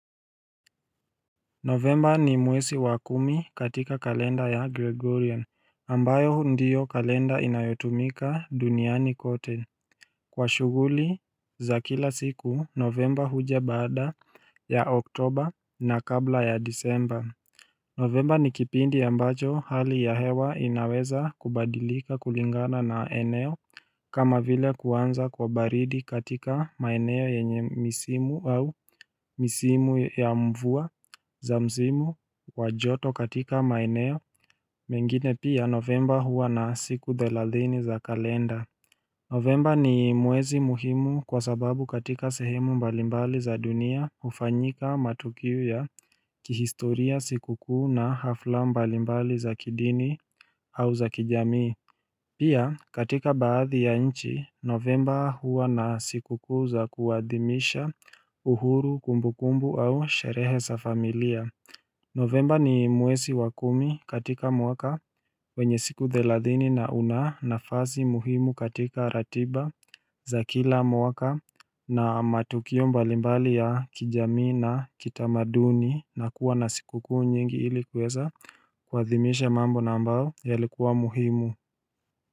Novemba ni mwesi wa kumi katika kalenda ya Gregorian ambayo ndiyo kalenda inayotumika duniani kote Kwa shuguli za kila siku novemba haja bada ya oktober na kabla ya disember Novemba ni kipindi ambacho hali ya hewa inaweza kubadilika kulingana na eneo kama vile kuanza kwa baridi katika maeneo yenye misimu au misimu ya mvua za mzimu wa joto katika maeneo mengine pia novemba hua na siku dheladhini za kalenda Novemba ni mwezi muhimu kwa sababu katika sehemu mbalimbali za dunia hufanyika matukiu ya kihistoria sikukuu na hafla mbalimbali za kidini au za kijamii Pia katika baadhi ya nchi novemba huwa na sikukuu za kuadhimisha uhuru kumbukumbu au sherehe sa familia Novemba ni mwesi wa kumi katika mwaka wenye siku dheladhini na una na fasi muhimu katika ratiba za kila mwaka na matukio mbalimbali ya kijami na kitamaduni na kuwa na siku kuu nyingi ilikuweza Kwa thimisha mambo nambao ya likuwa muhimu.